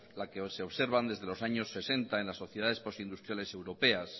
la que se observa desde los años sesenta en las sociedades postindustriales europeas